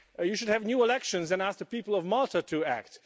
You should have new elections and asked the people of Malta to act.